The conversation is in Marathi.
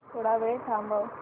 थोडा वेळ थांबव